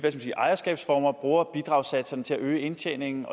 ejerskabsformer bruger bidragssatserne til at øge indtjeningen